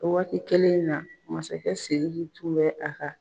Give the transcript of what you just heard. O waati kɛlen in na masakɛ Seydu tun bɛ a ka.